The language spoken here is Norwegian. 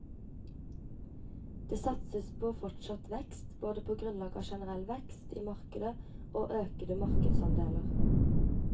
Det satses på fortsatt vekst, både på grunnlag av generell vekst i markedet og økede markedsandeler.